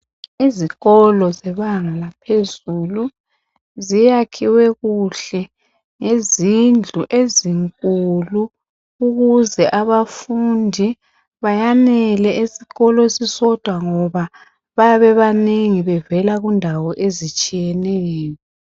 Izikolo zebanga laphezulu, ziyakhiwe kuhle ngezindlu ezinkulu ukuze abafundi bayanele esikolo esisodwa ngoba bayabe bebanengi bevela kundawo ezitshiyeneyo.